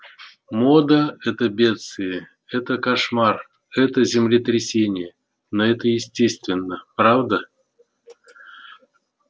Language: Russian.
мода это бедствие это кошмар это землетрясение но это естественно правда